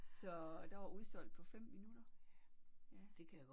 Så der var udsolgt på 5 minutter ja